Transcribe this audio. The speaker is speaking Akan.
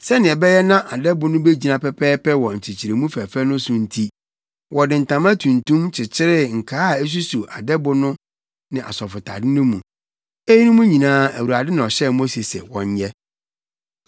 Sɛnea ɛbɛyɛ na adɛbo no begyina pɛpɛɛpɛ wɔ nkyekyeremu fɛfɛ no so nti, wɔde ntama tuntum kyekyeree nkaa a esuso adɛbo no ne asɔfotade no mu. Eyinom nyinaa, Awurade na ɔhyɛɛ Mose sɛ wɔnyɛ.